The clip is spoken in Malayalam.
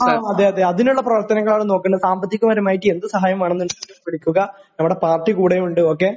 ങാ..അതേയതേയതേ..അതിനുള്ള പ്രവർത്തനങ്ങളാണ് നോക്കേണ്ടത്, സാമ്പത്തികപരമായിട്ട് എന്ത് സഹായം വേണമെന്നുണ്ടെങ്കിലും വിളിക്കുക..നമ്മുടെ പാർട്ടി കൂടെയുണ്ട്, ഓക്കേ?